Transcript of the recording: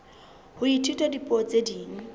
ho ithuta dipuo tse ding